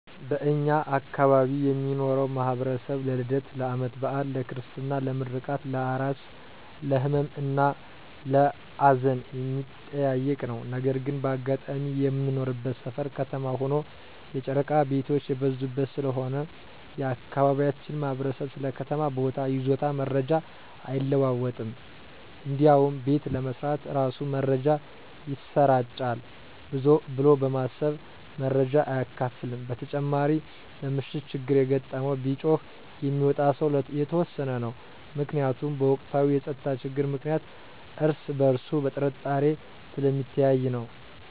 በእኛ አካባቢ የሚኖረው ማህበረሰብ ለልደት፣ ለአመት በአል፣ ለክርስትና፣ ለምረቃት፣ ለአራስ፣ ለህመም እና ለአዘን የሚጠያየቅ ነው። ነገር ግን በአጋጣሚ የምንኖርበት ሰፈር ከተማ ሆኖ የጨረቃ ቤቶች የበዙበት ስለሆነ የአካባቢያችን ማህበረሰብ ስለ ከተማ ቦታ ይዞታ መረጃ አይለዋወጥም እንዲያውም ቤት ለመስራት እራሱ መረጃ ይሰራጫል ብሎ በማሰብ መረጃ አያካፍልም። በተጨማሪ በምሽት ችግር የገጠመው ቢጮህ የሚወጣ ሰው የተወሰነ ነው። ምክንያቱም በወቅታዊ የፀጥታ ችግር ምክንያት እርስ በእርሱ በጥርጣሬ ስለሚተያይ ነው።